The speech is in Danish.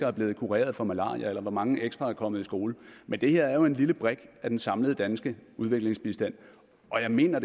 er blevet kureret for malaria eller hvor mange ekstra der er kommet i skole men det her er jo en lille brik af den samlede danske udviklingsbistand og jeg mener